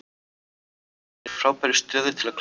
Valsararnir eru í frábærri stöðu til að klára þetta.